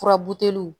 Furabuteliw